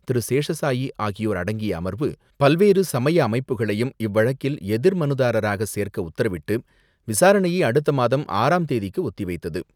திரு.சேஷ சாயி ஆகியோர் அடங்கிய அமர்வு, பல்வேறு சமய அமைப்புகளையும் இவ்வழக்கில் எதிர் மனுதாரராக சேர்க்க உத்தரவிட்டு, விசாரணையை அடுத்த மாதம் ஆறாம் தேதிக்கு ஒத்தி வைத்தது.